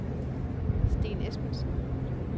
Steen Esbensen